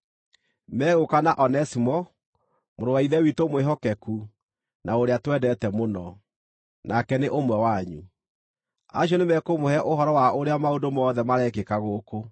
Megũũka na Onesimo, mũrũ wa Ithe witũ mwĩhokeku na ũrĩa twendete mũno, nake nĩ ũmwe wanyu. Acio nĩmekũmũhe ũhoro wa ũrĩa maũndũ mothe marekĩka gũkũ.